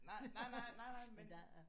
Nej nej nej. Nej nej men